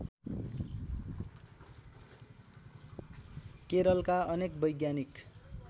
केरलका अनेक वैज्ञानिक